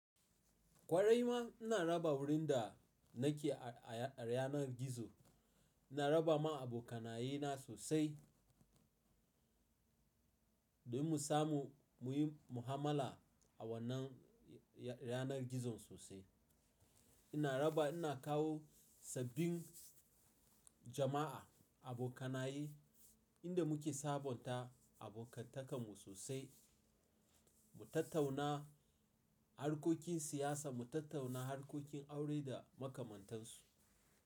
Kwarai ma ina raba wurin da nake a, a ranar gizo, ina raba ma abokanaye na sosai domin mu samu muyi muamala a wannan ya-ranar gizon sosai. Ina raba, ina kawo sabbin jama'a, abokanaye inda muke sabonta abokantakanmu sosai, mu tattauna harkokin siyasa, mu tattauna harkokin aure da makamantansu.